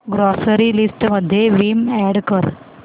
grocery list मध्ये Vim add कर